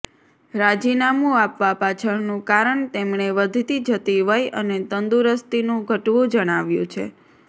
રાજીનામું આપવા પાછળનું કારણ તેમણે વધતી જતી વય અને તંદુરસ્તીનું ઘટવું જણાવ્યું છે